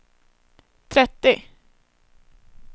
trettio